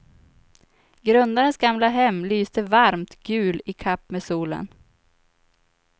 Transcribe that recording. Grundarens gamla hem lyste varmt gul i kapp med solen.